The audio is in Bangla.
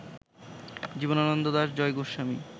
জীবনানন্দ দাশ, জয় গোস্বামী